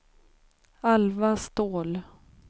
Alva Ståhl